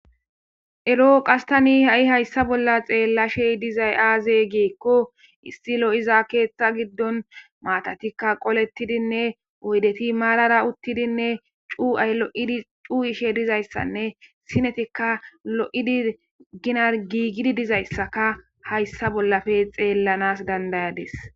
eroo qas tani ha7i hayssa bolla xeellashey dizay aaze geekko issi lo7iza keeththa giddon maatatikka qolettidinne oydeti maarara uttidinne cu7ay lo7idi cuu7ishe dizayssanne sinetikka lo7idi ginar giigidi dizayssaka hayssa bollafe xeellanas dandayades